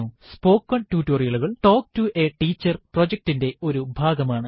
spoken ടുട്ടോറിയലുകൾ talk to a teacher പ്രൊജക്റ്റിറ്റിന്റെ ഒരു ഭാഗമാണ്